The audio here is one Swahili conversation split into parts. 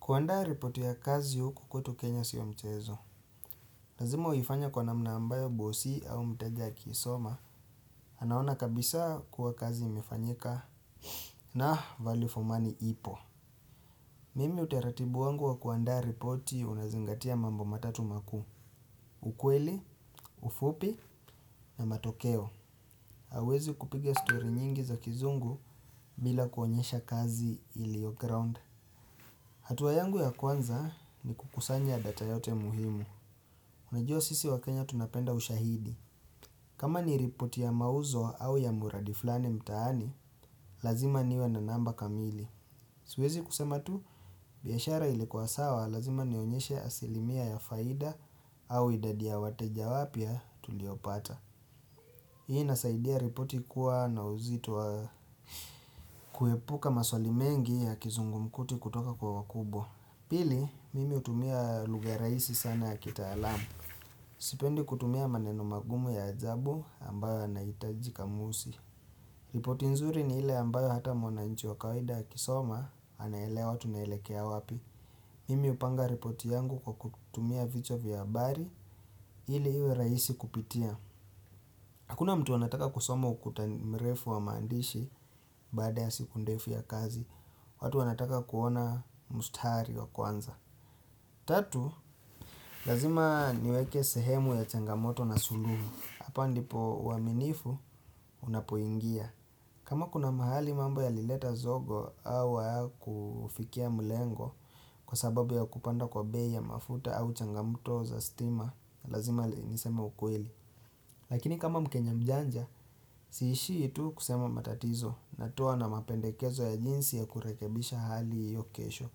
Kuandaa ripoti ya kazi huku kwetu Kenya sio mchezo. Lazima uifanye kwa namna ambayo bosi au mteja akisoma. Anaona kabisa kuwa kazi imefanyika na value for money ipo. Mimi utaratibu wangu wa kuandaa ripoti unazingatia mambo matatu makuu. Ukweli, ufupi na matokeo. Hawezi kupigela stori nyingi za kizungu bila kuonyesha kazi iliyo ground. Hatua yangu ya kwanza ni kukusanya data yote muhimu. Unajua sisi wa Kenya tunapenda ushahidi kama ni ripoti ya mauzo au ya mradi fulani mtaani Lazima niwe na namba kamili Siwezi kusema tu biashara ilikuwa sawa lazima nionyeshe asilimia ya faida au idadi ya wateja wapya tuliopata Hii inasaidia ripoti kuwa na uzito wa kuepuka maswali mengi ya kizungumkuti kutoka kwa wakubwa Pili, mimi hutumia lugha rahisi sana ya kitaalamu Sipendi kutumia maneno magumu ya ajabu ambayo anahitaji kamusi ripoti nzuri ni ile ambayo hata mwananchi wa kawaida akisoma anaelewa watu naelekea wapi Mimi hupanga ripoti yangu kwa kutumia vichwa vya habari ili iwe rahisi kupitia Hakuna mtu anataka kusoma ukuta mrefu wa maandishi Badaa ya siku ndefu ya kazi watu wanataka kuona mstari wa kwanza Tatu, lazima niweke sehemu ya changamoto na suluhu Hapa ndipo uaminifu unapoingia kama kuna mahali mambo ya lileta zogo au hayakufikia malengo Kwa sababu ya kupanda kwa bei mafuta au changamoto za stima Lazima niseme ukweli Lakini kama mkenya mjanja, siishi tu kusema matatizo natoa na mapendekezo ya jinsi ya kurekebisha hali hiyo kesho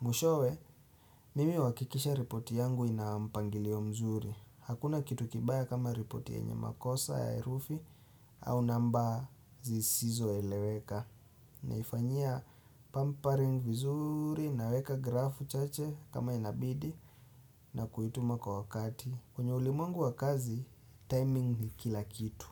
Mwishowe, mimi huhakikisha ripoti yangu inampangilio mzuri Hakuna kitu kibaya kama ripoti yenye makosa ya herufi au namba zisizoeleweka Naifanyia pampering vizuri naweka grafu chache kama inabidi na kuituma kwa wakati kwenye ulimwengu wa kazi, timing ni kila kitu.